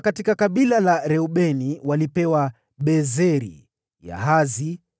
kutoka kabila la Reubeni walipewa Bezeri, Yahasa,